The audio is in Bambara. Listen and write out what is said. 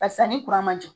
Barisa ni kuran ma jɔ